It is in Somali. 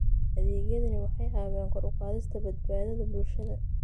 Adeegyadani waxay caawiyaan kor u qaadista badbaadada bulshada.